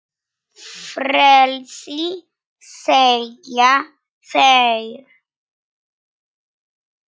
Frelsi segja þeir.